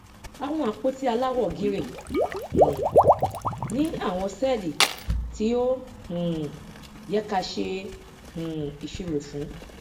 àwọn àpótí aláwọ gírè um ni àwọn sẹẹlì tí ó um yẹ káa ṣe um ìṣirò fún